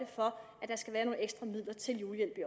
for